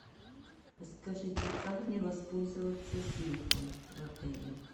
скажите как мне воспользоваться сейфом в отеле